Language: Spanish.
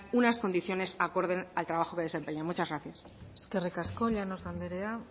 unas condiciones acorde al trabajo que desempeñan muchas gracias eskerrik asko llanos anderea